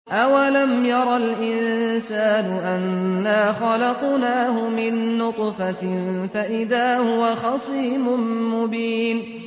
أَوَلَمْ يَرَ الْإِنسَانُ أَنَّا خَلَقْنَاهُ مِن نُّطْفَةٍ فَإِذَا هُوَ خَصِيمٌ مُّبِينٌ